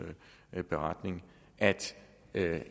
beretning at